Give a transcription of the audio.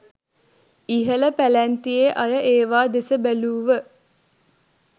ඉහළ පැලැන්තියේ අය ඒවා දෙස බැලූව